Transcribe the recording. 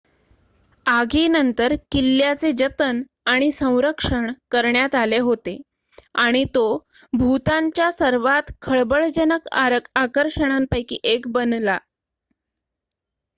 आगीनंतर किल्ल्याचे जतन आणि संरक्षण करण्यात आले होते आणि तो भूतानच्या सर्वात खळबळजनक आकर्षणांपैकी एक बनला